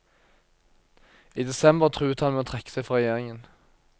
I desember truet han med å trekke seg fra regjeringen.